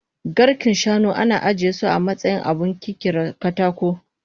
Garken shanu ana ajiyesu amatsayin abun kirkiran katako